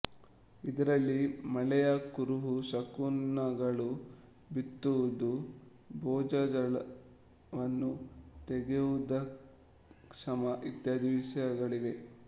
ಇದರಲ್ಲಿ ಮಳೆಯ ಕುರುಹು ಶಕುನಗಳು ಬಿತ್ತುವುದು ಭೂಜಲವನ್ನು ತೆಗೆಯುವುದುಕ್ಷಾಮ ಇತ್ಯಾದಿ ವಿಷಯಗಳಿವೆ